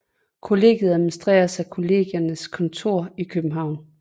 Kollegiet administreres af Kollegiernes Kontor I København